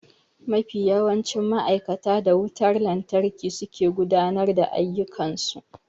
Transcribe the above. Mafi yawancin ma'aikata da wutar lantarki suke gudanar da ayyukan su.